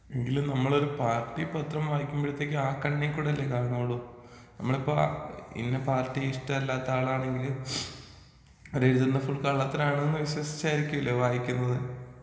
എങ്കിലും നമ്മള് പാർട്ടി പത്രം വായിക്കുമ്പഴത്തേക്ക് ആ കണ്ണികൂടി അല്ലെ കാണൊള്ളു നമ്മള് ഇപ്പ ഇന്ന പാർട്ടി ഇഷ്ടല്ലാത്ത ആളാണെങ്കില് അതെഴുതുന്നത് ഫുൾ കള്ളത്തരമാണെന്ന് വിശ്വസിച്ചായിരിക്കല്ലെ വായിക്കുന്നത്?